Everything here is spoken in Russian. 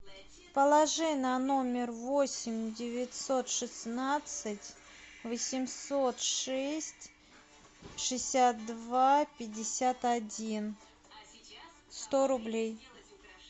положи на номер восемь девятьсот шестнадцать восемьсот шесть шестьдесят два пятьдесят один сто рублей